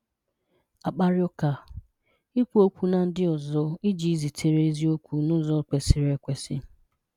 Akpàrị́ ụ́ka – Ik̀wù okwù na ndị ọzọ iji zitere eziokwu n’ụ́zọ kwesịrị ekwèsị́.